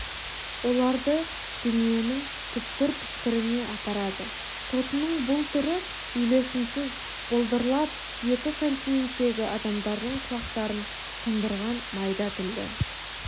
оларды дүниенің түкпір-түкпіріне апарады тотының бұл түрі үйлесімсіз былдырлап екі континенттегі адамдардың құлақтарын тұндырған майда тілді